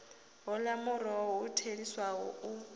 hola muholo u theliswaho u